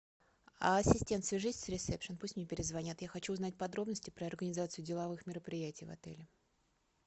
ассистент свяжись с ресепшн пусть мне перезвонят я хочу узнать подробности про организацию деловых мероприятий в отеле